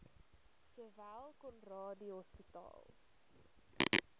sowel conradie hospitaal